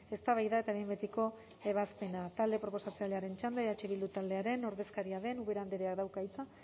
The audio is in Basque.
eztabaida eta behin betiko ebazpena talde proposatzailearen txanda eh bildu taldearen ordezkaria den ubera andreak dauka hitza